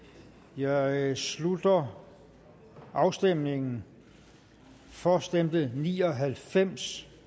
jeg slutter afstemningen for stemte ni og halvfems